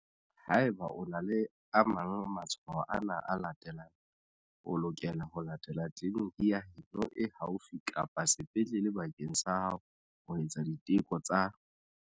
Haeba o na le a mang a matshwao ana a latelang, o lokela ho etela tleliniki ya heno e haufi kapa sepetlele bakeng sa ho etsa diteko tsa.